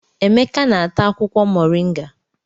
Emeka na-ata akwukwo Mọrịnga.